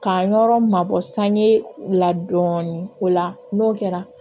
K'an yɔrɔ mabɔ san ye dɔɔni o la n'o kɛra